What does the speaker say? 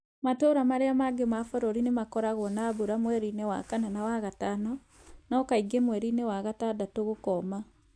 Matũũra marĩa mangĩ ma bũrũri, nĩ makoragwo na mbura mweri-inĩ wa kana na wa gatano, no kaingĩ mweri-inĩ wa gatandatũ gũkoma.